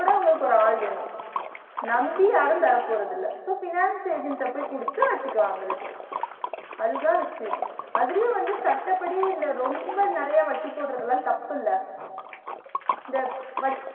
அப்ப கூட உங்களுக்கு ஒரு ஆள் வேணு நம்பி யாரும் தரபோரதில்ல so finance agent ட போய் குடுத்து வட்டிக்கு வாங்குறது அதுதான் விஷியம் அதுலயும் வந்து சட்டப்படி இந்த ரொம்ப நெறைய வட்டி போடுறது எல்லா தப்புல இந்த